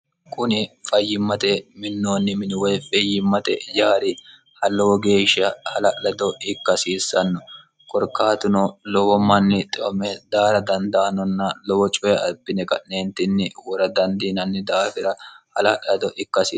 kuni fayyimmate minnoonni minuwoy fiyyimmate yaari hallowo geeshsha hala'lado ikkahasiissanno korkaatuno lowo manni xoome daara dandaanonna lowo coye abbine qa'neentinni wora dandiinanni daafira hala'lato ikka hasir